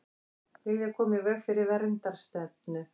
Vilja koma í veg fyrir verndarstefnu